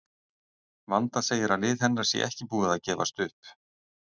Vanda segir að lið hennar sé ekki búið að gefast upp.